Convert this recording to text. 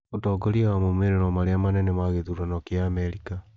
ũtongoria wa maũmĩrĩro marĩa manene ma gĩthurano kĩa Amerika